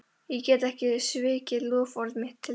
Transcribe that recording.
Ég get ekki svikið loforð mitt til þeirra.